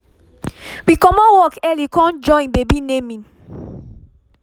we commot work early com joinbaby naming